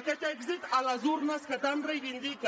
aquest èxit a les urnes que tant reivindica